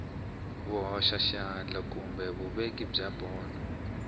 vuhoxaxandla kumbe vuveki bya mbono